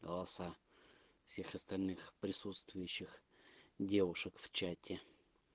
голоса всех остальных присутствующих девушек в чате